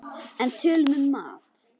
En tölum um mat!